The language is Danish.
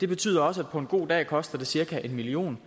det betyder også at det på en god dag koster cirka en million